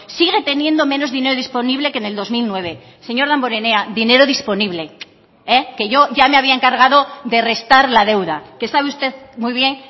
sigue teniendo menos dinero disponible que en el dos mil nueve señor damborenea dinero disponible que yo ya me había encargado de restar la deuda que sabe usted muy bien